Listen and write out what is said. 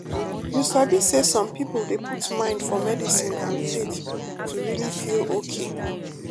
you sabi say some people dey put mind for medicine and faith to really feel okay.